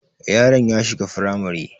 Yaron ya shiga firamare